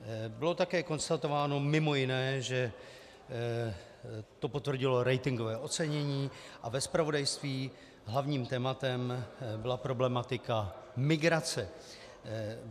Bylo také konstatováno mimo jiné, že to potvrdilo ratingové ocenění a ve zpravodajství hlavním tématem byla problematika migrace.